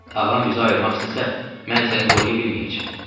Ağam bizi ayırmaq istəsə, mən səni qoruya bilməyəcəm.